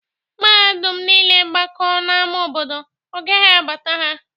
Mmadụ niile gbakọọ n'ámá obodo, ọ gaghị abata ha